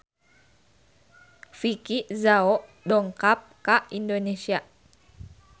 Vicki Zao dongkap ka Indonesia